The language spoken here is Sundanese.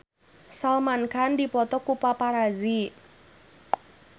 Salman Khan dipoto ku paparazi